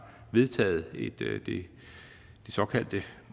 vedtaget det såkaldte